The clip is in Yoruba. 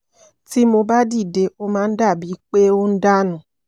tí mo bá dìde ó máa ń dà bíi pé ó ń dà nù